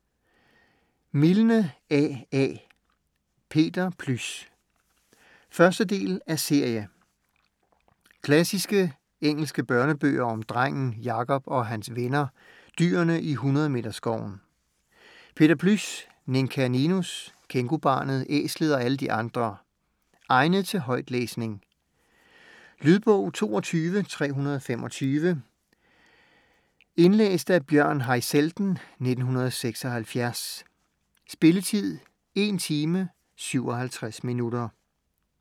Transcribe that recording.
Milne, A. A.: Peter Plys 1. del af serie. Klassiske engelsk børnebøger om drengen Jakob og hans venner, dyrene i Hundredmeterskoven: Peter Plys, Ninka Ninus, Kængubarnet, Æslet og alle de andre. Egnet til højtlæsning. Lydbog 22325 Indlæst af Bjørn Haizelden, 1976. Spilletid: 1 timer, 57 minutter.